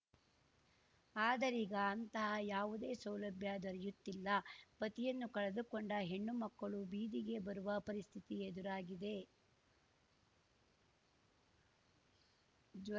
ಆದರೀಗ ಅಂತಹ ಯಾವುದೇ ಸೌಲಭ್ಯ ದೊರೆಯುತ್ತಿಲ್ಲ ಪತಿಯನ್ನು ಕಳೆದುಕೊಂಡ ಹೆಣ್ಣು ಮಕ್ಕಳು ಬೀದಿಗೆ ಬರುವ ಪರಿಸ್ಥಿತಿ ಎದುರಾಗಿದೆ